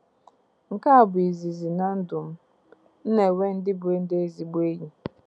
Nke a bụ izizi, na ndụ m, m na-enwe ndị bụ ndị ezigbo enyi.